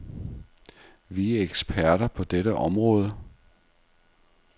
Vi er eksperter på dette område.